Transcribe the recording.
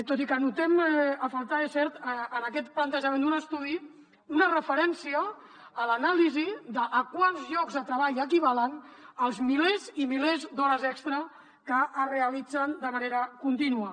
tot i que notem a faltar és cert en aquest plantejament d’un estudi una referència a l’anàlisi de a quants llocs de treball equivalen els milers i milers d’hores extres que es realitzen de manera contínua